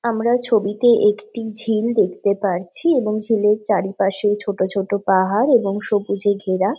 আমরা ছবিতে একটি ঝিল দেখতে পারছি এবং ঝিলের চারিপাশে ছোট ছোট পাহাড় এবং সুবজ এ ঘেরা ।